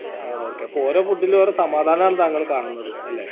ആ okay അപ്പൊ ഓരോ food ൽ ഓരോ സമാധാനാണ് താങ്കൾ കാണുന്നത് അല്ലെ